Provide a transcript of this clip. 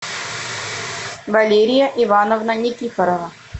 валерия ивановна никифорова